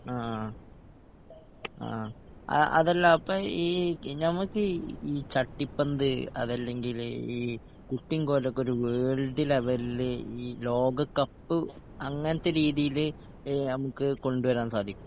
ആ ആ ആ അതല്ല അപ്പൊ ഈ നമുക്ക് ഈ ചട്ടിപ്പന്ത് അതല്ലങ്കില് ഈ കുട്ടീങ്കോലൊക്കൊരു വേൾഡ് ലെവൽല് ഈ ലോകക്കപ്പ് അങ്ങൻത്തെ രീതീല് ഏ നമ്മക്ക് കൊണ്ട് വരാൻ സാധിക്കോ